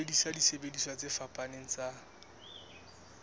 sebedisa disebediswa tse fapaneng tsa